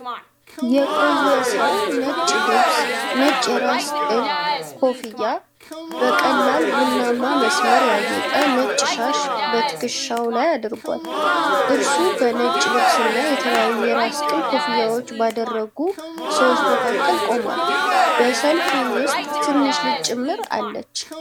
የቆየ ሰው ነጭ ልብስ፣ ነጭ የራስ ቅል ኮፍያና (kufi) በቀላል ቡናማ መስመር ያጌጠ ነጭ ሻሽ በትከሻው ላይ አድርጓል። እርሱ በነጭ ልብስና የተለያዩ የራስ ቅል ኮፍያዎችን ባደረጉ ሰዎች መካከል ቆሟል፤ በሰልፉ ውስጥ ትንሽ ልጅ ጭምር አለች።